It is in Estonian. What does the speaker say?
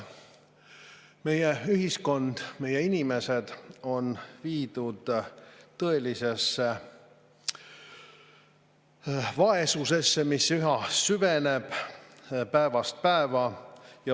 Meie ühiskond, meie inimesed on viidud tõelisesse vaesusesse, mis üha süveneb päevast päeva.